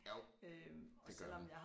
Jo det gør man